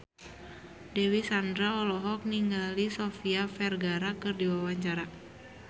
Dewi Sandra olohok ningali Sofia Vergara keur diwawancara